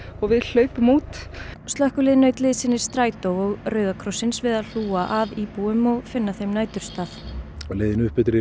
og við hlaupum út slökkvilið naut liðsinnis Strætó og Rauða krossins við að hlúa að íbúum og finna þeim næturstað á leiðinni upp eftir